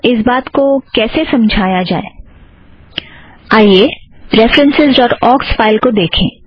इस बात को कैसे समझाया जाए आइए रेफ़रन्सस् ड़ॉट ऑक्स फ़ाइल को देखें